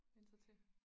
Vænne sig til